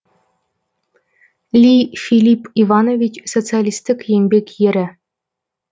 ли филипп иванович социалистік еңбек ері